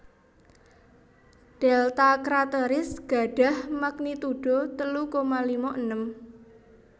Delta Crateris gadhah magnitudo telu koma lima enem